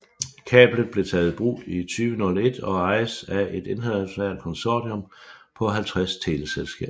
Kablet blev taget i brug i 2001 og ejes af et internationalt konsortium på 50 teleselskaber